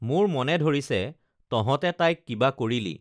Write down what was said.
মোৰ মনে ধৰিছে তঁহতে তাইক কিবা কৰিলি